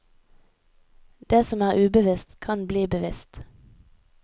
Det som er ubevisst, kan bli bevisst.